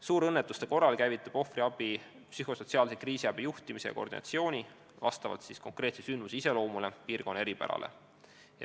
Suurõnnetuste korral käivitub ohvriabi psühhosotsiaalse kriisiabi juhtimine ja koordineerimine vastavalt konkreetse sündmuse iseloomule ja piirkonna eripärale.